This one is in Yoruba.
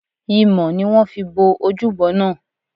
Imọ̀ ni wón fi bo ojúbo náà.